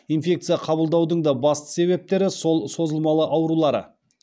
инфекция қабылдаудың да басты себептері сол созылмалы аурулары